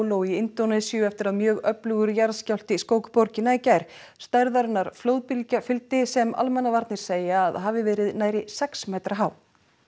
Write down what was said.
Palu í Indónesíu eftir að mjög öflugur jarðskjálfti skók borgina í gær stærðarinnar flóðbylgja fylgdi sem almannavarnir segja að hafi verið nærri sex metra há